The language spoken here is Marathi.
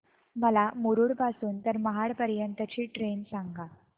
मला मुरुड पासून तर महाड पर्यंत ची ट्रेन सांगा